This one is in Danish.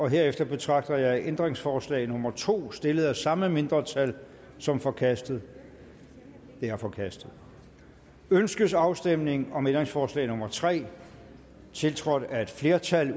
herefter betragter jeg ændringsforslag nummer to stillet af samme mindretal som forkastet det er forkastet ønskes afstemning om ændringsforslag nummer tre tiltrådt af et flertal